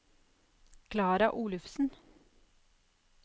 Klara Olufsen